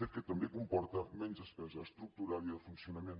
fet que també comporta menys despesa estructural i de funcionament